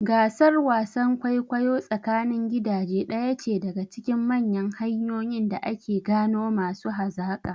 Gasar wasan kwaikwayo tsakanin gidaje ɗaya ce daga cikin manyan hanyoyin da ake gano masu hazaƙa.